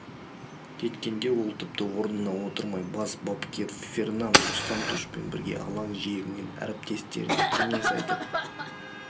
кеткенде ол тіпті орнына отырмай бас бапкер фернанду сантушпен бірге алаң жиегінен әріптестеріне кеңес айтып